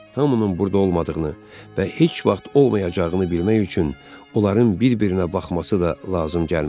Hamının burda olmadığını və heç vaxt olmayacağını bilmək üçün onların bir-birinə baxması da lazım gəlmədi.